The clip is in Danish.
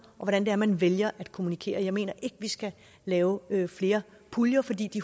og hvordan det er man vælger at kommunikere jeg mener ikke vi skal lave flere puljer fordi de